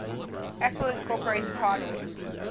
apple inc hardware